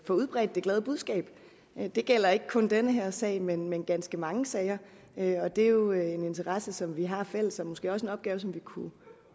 få udbredt det glade budskab det gælder ikke kun den her sag men men ganske mange sager og det er jo en interesse som vi har fælles og måske også en opgave som vi kunne